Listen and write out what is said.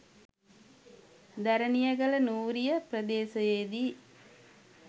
Deraniyagala Nooriya ප්‍රදේශයේදී